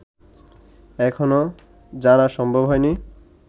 এখনো জানা সম্ভব হয়নি